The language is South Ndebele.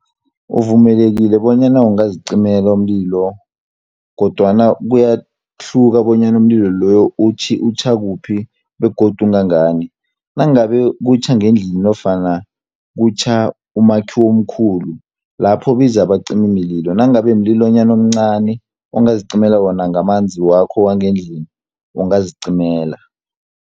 Uvumelekile bonyana ungazicimela umlilo, kodwana kuyahluka bonyana umlilo loyo utjha kuphi, begodu ungangani. Nangabe kutjha ngendlini nofana kutjha umakhiwo omkhulu, lapho biza abacimimlilo. Nangabe mlilonyana omncani, ongazicimela wona ngamanzi wakho wangendlini, ungazicimela.